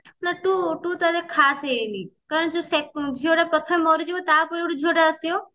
ନା two ଟା ଏତେ ଖାସ ହେଇନି କାରଣ ଝିଅ ଟା ପ୍ରଥମେ ମରିଯିବ ତାପରେ ଯୋଉ ଝିଅଟା ଆସିବ